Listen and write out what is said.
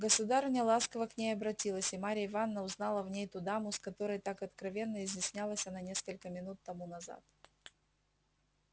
государыня ласково к ней обратилась и марья ивановна узнала в ней ту даму с которой так откровенно изъяснялась она несколько минут тому назад